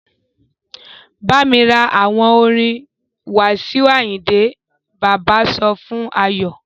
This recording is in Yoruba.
Bámi ra àwo orin Wasiu Ayinde! Bàbá sọ fún Ayọ.